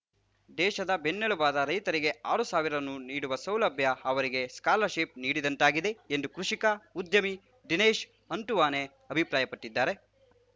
ದೇಶದ ಬೆನ್ನೆಲುಬಾದ ರೈತರಿಗೆ ಆರು ಸಾವಿರ ರು ನೀಡುವ ಸೌಲಭ್ಯ ಅವರಿಗೆ ಸ್ಕಾಲರ್‌ಶಿಪ್‌ ನೀಡಿದಂತಾಗಿದೆ ಎಂದು ಕೃಷಿಕ ಉದ್ಯಮಿ ದಿನೇಶ್‌ ಹಂತುವಾನೆ ಅಭಿಪ್ರಾಯಪಟ್ಟಿದ್ದಾರೆ